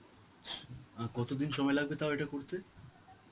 ছ~ আর কতদিন সময় লাগবে তাও এটা করতে?